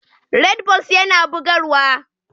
Redbulls yana bugarwa.